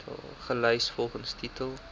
gelys volgens titel